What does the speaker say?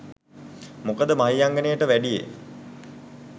මොකද මහියංගණයට වැඩියේ